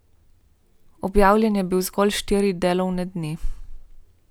Objavljen je bil zgolj štiri delovne dni.